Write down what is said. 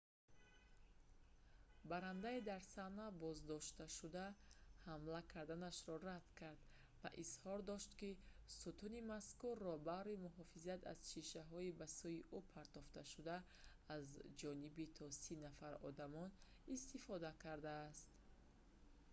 баррандаи дар саҳна боздоштшуда ҳамла карданашро рад кард ва изҳор дошт ки сутуни мазкурро баҳри муҳофизат аз шишаҳои ба сӯи ӯ партофташуда за ҷониби то сӣ нафар одамон истифода кардааст